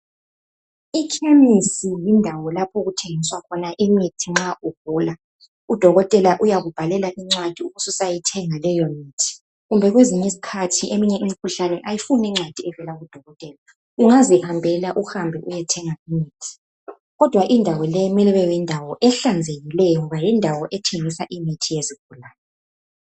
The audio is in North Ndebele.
I khemisi yindawo lapho okuthengiswa khona imithi nxa ugula, udokotela uyaku bhalela incwadi ubususa yithenga leyo mithi kumbe kwezinye isikhathi eminye imikhuhlane ayifuni encwadi evela ku dokotela, ungazihambela uhambe uyethenga imithi kodwa indawo leyi kumele kube yindawo ehlanzekileyo ngoba yindawo ethengisa imithi yezigulane.